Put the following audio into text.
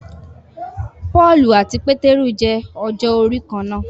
Pọ́ọ̀lù àti Pétérù jẹ ọjọ́ orí kán náà.